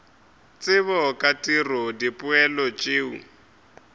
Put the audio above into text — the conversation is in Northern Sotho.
tsebo ka tiro dipoelo tšeo